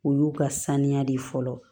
O y'u ka saniya de ye fɔlɔ